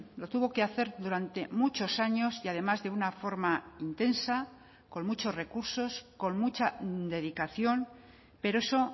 lo tuvo que hacer durante muchos años y además de una forma intensa con muchos recursos con mucha dedicación pero eso